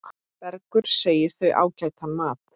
Bergur segir þau ágætan mat.